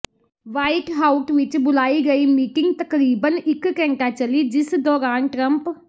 white ਹਾਊਟ ਵਿੱਚ ਬੁਲਾਈ ਗਈ ਮੀਟਿੰਗ ਤਕਰਬੀਨ ਇੱਕ ਘੰਟਾ ਚੱਲੀ ਜਿਸ ਦੌਰਾਨ ਟਰੰਪ